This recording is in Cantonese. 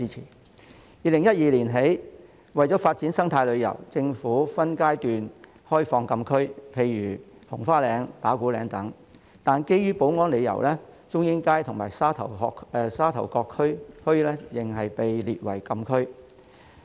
自2012年起，政府為了發展生態旅遊，分階段開放禁區，例如紅花嶺和打鼓嶺等，但基於保安理由，中英街及沙頭角墟仍被列為禁區。